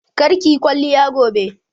Kar kiyi kwalliya gobe!